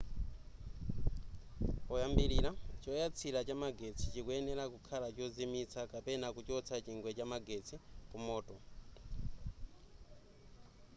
poyambilira choyatsila cha magetsi chikuyenela kukhala chozimitsa kapena kuchotsa chingwe cha magetsi ku moto